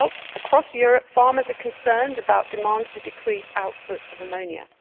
Across Europe farmers are concerned about demands to decrease output of ammonia.